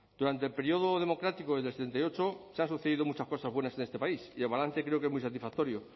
durante el periodo democrático desde el setenta y ocho se han sucedido muchas cosas buenas en este país y el balance creo que es muy satisfactorio